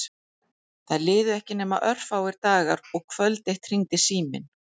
Það liðu ekki nema örfáir dagar og kvöld eitt hringdi síminn.